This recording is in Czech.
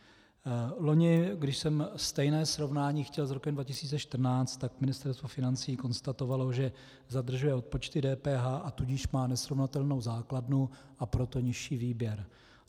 Loni, když jsem stejné srovnání chtěl s rokem 2014, tak Ministerstvo financí konstatovalo, že zadržuje odpočty DPH, a tudíž má nesrovnatelnou základnu, a proto nižší výběr.